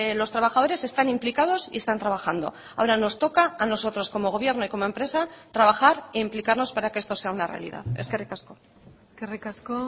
los trabajadores están implicados y están trabajando ahora nos toca a nosotros como gobierno y como empresa trabajar e implicarnos para que esto sea una realidad eskerrik asko eskerrik asko